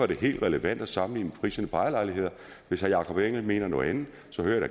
det helt relevant at sammenligne med priserne på ejerlejligheder hvis herre jakob engel schmidt mener noget andet